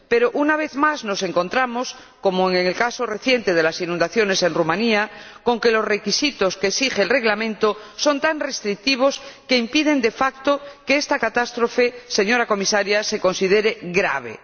Pero, una vez más, nos encontramos, como en el caso reciente de las inundaciones en Rumanía, con que los requisitos que exige el reglamento son tan restrictivos que impiden de facto que esta catástrofe, señora Comisaria, se considere grave.